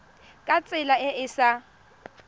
ka tsela e e sa